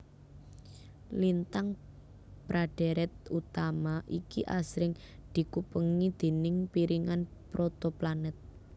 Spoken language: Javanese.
Lintang pra dhèrèt utama iki asring dikupengi déning piringan protoplanet